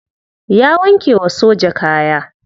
Ya wanke wa soja kaya.